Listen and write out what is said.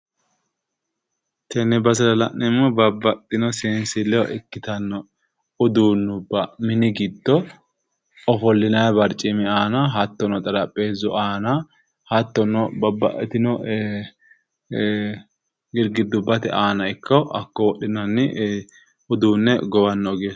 Tenne basera la'neemmohu babbaxxino seensilleho ikkitanno uduunnubba mini giddo ofollinayi barcimi aana hattono xarapheezzu aana hattono babbaxxitino girgiddubbate aana ikko hakko wodhinanni uduunne gowanno ogeessaati.